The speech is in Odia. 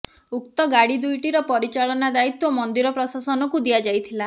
ଉକ୍ତ ଗାଡ଼ି ଦୁଇଟିର ପରିଚାଳନା ଦାୟିତ୍ବ ମନ୍ଦିର ପ୍ରଶାସନକୁ ଦିଆଯାଇଥିଲା